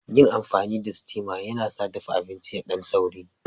Yin amfani da steama yana sa dafa abinci yadan sauri.